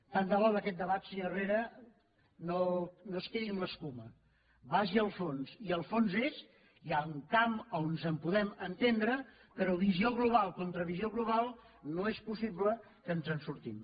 tant de bo d’aquest debat senyor herrera no es quedi amb l’escuma vagi al fons i el fons és hi ha un camp a on ens podem entendre però visió global contra visió global no és possible que ens en sortim